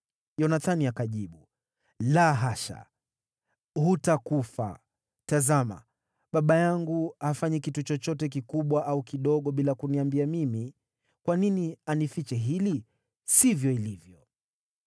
Yonathani akajibu, “La hasha! Hutakufa! Tazama, baba yangu hafanyi kitu chochote, kikubwa au kidogo, bila kuniambia mimi. Kwa nini anifiche hili? Sivyo ilivyo!”